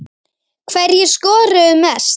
Hverjir skoruðu mest?